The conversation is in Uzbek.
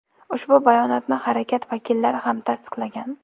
Ushbu bayonotni harakat vakillari ham tasdiqlagan.